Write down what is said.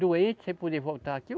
Doente, sem poder voltar aqui.